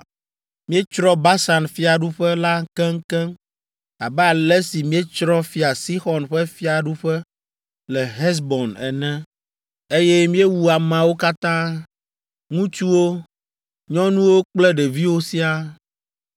Míetsrɔ̃ Basan fiaɖuƒe la keŋkeŋ abe ale si míetsrɔ̃ Fia Sixɔn ƒe fiaɖuƒe le Hesbon ene, eye míewu ameawo katã, ŋutsuwo, nyɔnuwo kple ɖeviwo siaa.